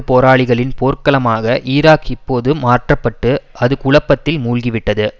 போராளிகளின் போர்க்களமாக ஈராக் இப்போது மாற்ற பட்டு அது குழப்பத்தில் மூழ்கிவிட்டது